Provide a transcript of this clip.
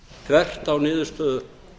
þvert á niðurstöðu